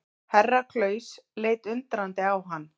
Herra Klaus leit undrandi á hann.